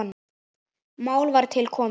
Mál var til komið.